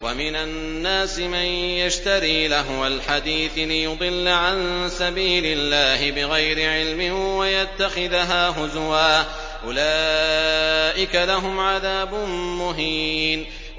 وَمِنَ النَّاسِ مَن يَشْتَرِي لَهْوَ الْحَدِيثِ لِيُضِلَّ عَن سَبِيلِ اللَّهِ بِغَيْرِ عِلْمٍ وَيَتَّخِذَهَا هُزُوًا ۚ أُولَٰئِكَ لَهُمْ عَذَابٌ مُّهِينٌ